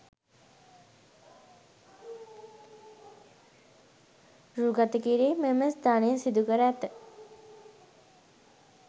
රූ ගතකිරීම් මෙම ස්ථානයේ සිදුකර ඇත.